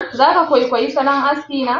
Za ka kwaikwayi salon aski na?